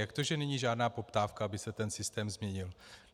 Jak to, že není žádná poptávka, aby se ten systém změnil?